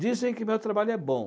Dizem que meu trabalho é bom.